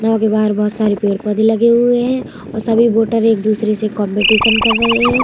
नाव के बाहर बहुत सारे पेड़-पौधे लगे हुए हैं और सभी वोटर एक दुसरे से कॉम्पिटीशन कर रहे है ।